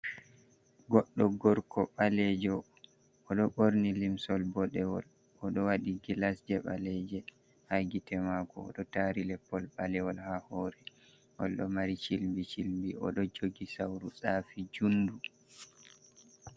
Goddo gorko ɓaleejo. O ɗo ɓorni limsol boɗeewol, o ɗo waɗi gilas jei ɓaleeje ha gite mako. O ɗo tari leppol ɓalewol ha hore. Ngol ɗo mari shilbi-shilbi, o ɗo jogi sauru safi juundu.